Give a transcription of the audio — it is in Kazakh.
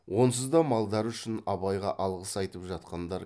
онсыз да малдары үшін абайға алғыс айтып жатқандар